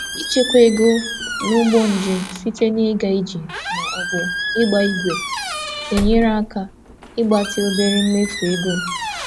Ịchekwa ego n'ụgbọ njem site na ịga ije ma ọ bụ ịgba ígwè na-enyere aka ịgbatị obere mmefu ego m.